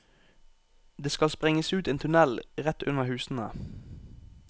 Det skal sprenges ut en tunnel rett under husene.